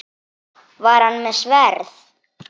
Var hann með sverð?